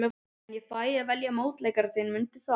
En ég fæ að velja mótleikara þinn, mundu það.